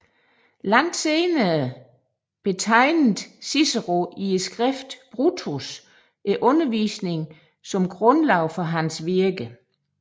Langt senere betegnede Cicero i skriftet Brutus undervisningen som grundlaget for hans virke